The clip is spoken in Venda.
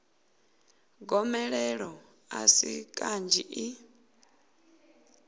gomelelo a si kanzhi i